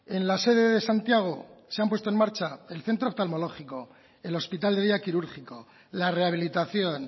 en la sede de santiago se han puesto en marcha el centro oftalmológico el hospital de día quirúrgico la rehabilitación